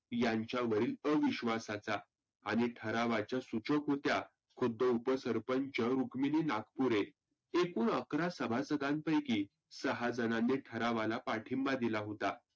यांच्यावरील अविश्वासाचा. आणि ठरावाच्या सुचक होत्या कुद्द उप सरपंच सुक्मिनी नागपुरे. एकुण अकरा सभासदांपैकी सहा जनांनी ठरावाला पाठिंबा दिला होता.